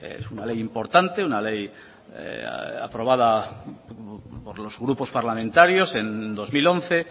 es una ley importante una ley aprobada por los grupos parlamentarios en dos mil once